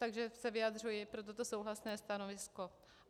Takže se vyjadřuji pro toto souhlasné stanovisko.